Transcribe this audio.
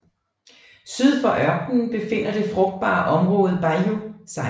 Syd for ørkenen befinder det frugtbare område Bajío sig